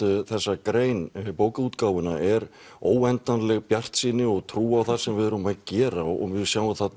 þessa grein bókaútgáfuna er óendanleg bjartsýni og trú á það sem við erum að gera og við sjáum að